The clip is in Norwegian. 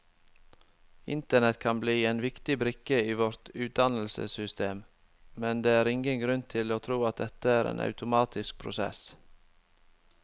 Internett kan bli en viktig brikke i vårt utdannelsessystem, men det er ingen grunn til å tro at dette er en automatisk prosess.